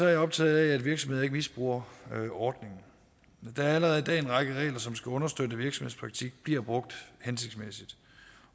jeg optaget af at virksomheder ikke misbruger ordningen der er allerede i dag en række regler som skal understøtte at virksomhedspraktik bliver brugt hensigtsmæssigt